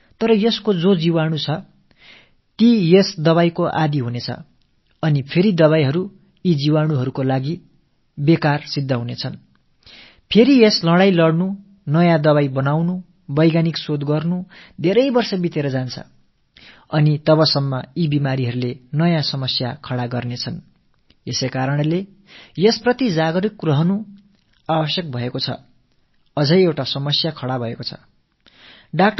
கண்ட கண்ட antibioticகளை எடுத்துக் கொள்வதன் காரணமாக நோயாளிக்கு என்னவோ அந்த வேளைக்கு நிவாரணம் கிடைத்தாலும் நோய் நுண்ணுயிரிகள் இந்த மருந்துகளுக்குப் பழக்கப்பட்டு மீண்டும் இந்த மருந்துகளை உட்கொள்ளும் வேளையில் அவை பயனளிக்க முடியாதவையாகி விடுகின்றன இதன் பிறகு மீண்டும் ஒரு போராட்டம் தொடங்குகிறது புதிய மருந்துகளை கண்டுபிடிப்பது அறிவியல் ஆய்வுகள் மேற்கொள்வது என்பவற்றிலெல்லாம் ஆண்டுகள் பல கழிந்து விடுகின்றன அதற்குள்ளாக நோய்கள் புதிய சங்கடங்களைத் தோற்றுவித்து விடுவதால் நாம் இந்த விஷயத்தில் விழிப்போடு இருப்பது அவசியமாகிறது